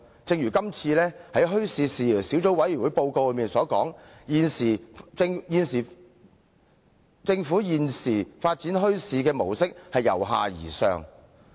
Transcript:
正如墟市事宜小組委員會報告所述，現時政府發展墟市的模式是由下而上。